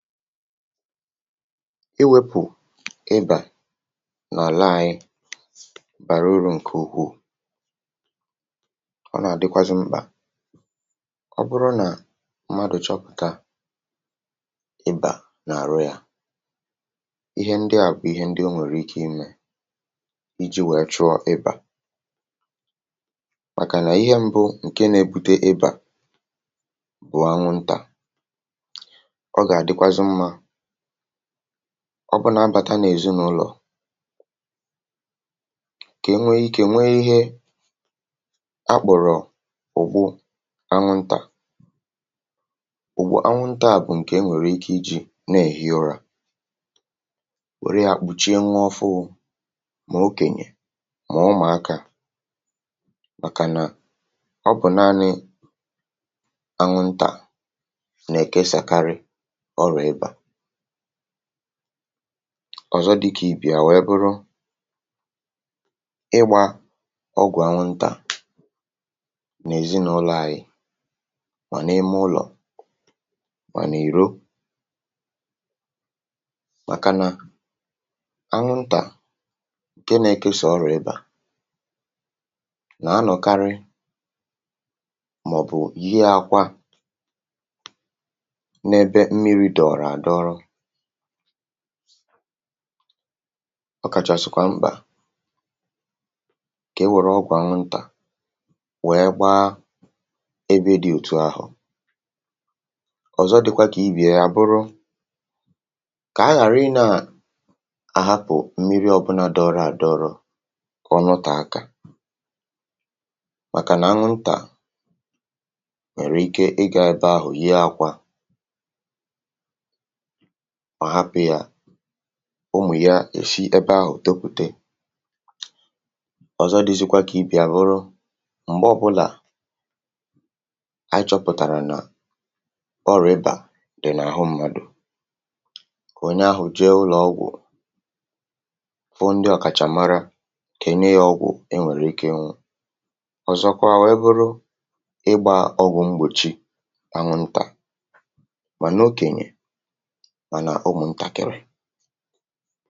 iwėpù ịbà n’àla ȧnyị̇ bàrà urù ǹkè ukwuù, ọ nà-àdịkwazị mkpà ọ bụrụ nà mmadụ̀ chọpụ̀tà ịbà n’àrụ yȧ. Ihe ndị àkwụ, ihe ndị o nwèrè ike imė iji̇ wèe chụ̀ọ ịbà, màkà nà ihe mbụ ǹke nȧ-ėbute ịbà bụ̀ anwụ̀ntà, ọ bụ na-abàta nà èzinụlọ̀ kà nwee ike nwee ihe akpụ̀rụ̀ ụ̀gbu anwụ̀ntà. um Ụ̀gbọ̀ anwụ̀ntà a bụ̀ ǹkè e nwèrè ike ịjị̇ na-èhi ụra, nwère àkpụchie nwe ọ fụụ̇, mà okènyè mà ụmụ̀akȧ, màkànà ọ bụ̀ naanị ọ̀zọ dịkà ìbì à nwee bụrụ ịgbȧ ọgwụ̀ anwụ̀ntà n’èzinụlọ̀ anyị, mà nà ime ụlọ̀, mà nà ìrò, màkà nà anwụ̀ntà ǹke nȧ-ekė sị̀ ọrụ ịbà nà-anọ̀karị. Màọ̀bụ̀ ihe ȧkwa ọ kàchàsị̀kwà mkpà kà e nwèrè ọkwà m̀ntà, nwère gbaa ebe dị òtù ahụ̀. Ọ̀zọ, dịkwa kà ibìè abụrụ kà a ghàra ị nà àhapụ̀ mmirì ọbụlà dị ọrụ àdọrọ, kà ọnụ tà aka, màkà nà anụ̀ntà nà-èrè ike. Ị gà ebe ahụ̀, ihe ȧkwa mà hapụ̀ ya, ụmụ̀ ya èshi ebe ahụ̀, topùte ọ̀zọ. um Dị̇zịkwa kà ibì àbụrụ m̀gbe ọbụlà̇ achọpụ̀tàrà nà ọrị̀bà dị̀ n’àhụ ṁmȧdụ̀, kà onye ahụ̀ jee ụlọ̀ ọgwụ̀, fụ ndị ọ̀kàchàmara, kènye ya ọgwụ̀ e nwèrè ike ṅụ̇. Ọ̀zọkwa, wụ̀ e bụrụ ịgbȧȧ ọgwụ̀ m̀gbòchi ànwụ̀ntà, mà n’okènyè, mà nà ọ mụ̇ ntàkịrị.